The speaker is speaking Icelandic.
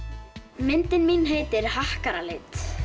myndin mín heitir